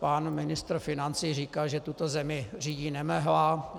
Pan ministr financí říkal, že tuto zemi řídí nemehla.